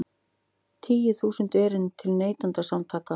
Tíu þúsund erindi til Neytendasamtakanna